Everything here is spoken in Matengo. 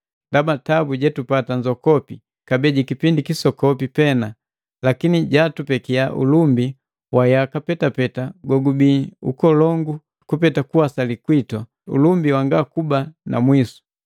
Ndaba tabu jetupata nzokopi, kabee jikipindi kisokopi pena, lakini jatupekia ulumbi wa yaka petapeta gogubii nkolongu kupeta kuwasali kwitu, ulumbi wanga kuba na mwisu.